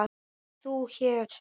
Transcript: Nei, þú hér?